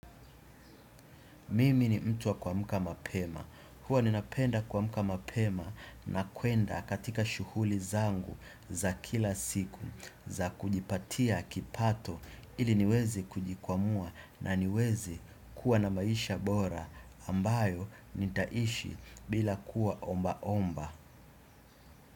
Mimi ni mtu wa kuamka mapema, huwa ninapenda kuamka mapema na kwenda katika shughuli zangu za kila siku za kujipatia kipato ili niwezi kujikwamua na niweze kuwa na maisha bora ambayo nitaishi bila kuwa omba omba.